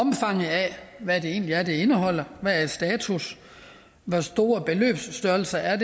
hvad det egentlig er det indeholder hvad er status hvor store beløbsstørrelser er